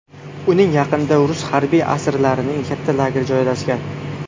Uning yaqinda rus harbiy asirlarining katta lageri joylashgan.